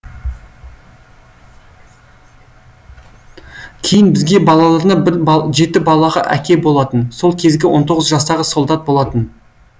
кейін бізге балаларына жеті балалы әке болатын сол кезде он тоғыз жастағы солдат болатын